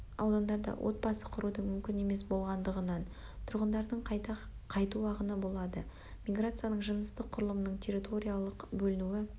аудандарда отбасы құрудың мүмкін емес болғандығынан тұрғындардың қайта қайту ағыны болады миграцияның жыныстық құрылымының территориялық бөлінуі